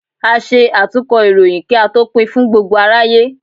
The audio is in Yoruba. À ṣe atúnkọ ìròyìn, ki a tó pín fún gbógbo aráyé.